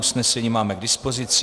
Usnesení máme k dispozici.